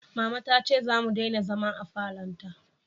Mama ta ce za mu dena zama a falon ta